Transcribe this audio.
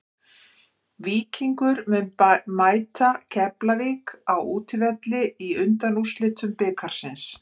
Víkingur mun mæta Keflavík á útivelli í undanúrslitum bikarsins.